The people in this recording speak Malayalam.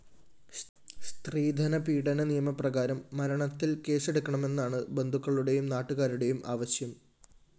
സ്ത്രീധന പീഡന നിയമപ്രകാരം മരണത്തില്‍ കേസെടുക്കണമെന്നാണ് ബന്ധുക്കളുടേയും നാട്ടുകാരുടേയും ആവശ്യം